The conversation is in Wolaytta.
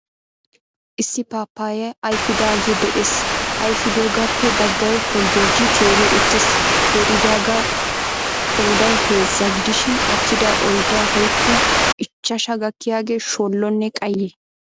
Issi paappayyay ayfidaagee de'ees. Ayfidogaappe baggay holjjojjidi teeri uttiis. Teeridaagaa qooday heezza gidishin attida oyddaa woykko ichchashaa gakkiyagee shoollonne qayye.